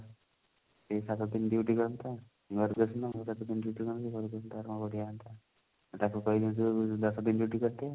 ସେଇ ସାତ ଦିନ duty କରନ୍ତା ଘରକୁ ଆସନ୍ତା ବଢିଆ ହୁଆନ୍ତା ତାକୁ କହିବି ତୁ ଦଶ ଦିନ duty କରିଦେ